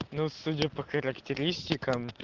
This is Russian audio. ну судя по характеристикам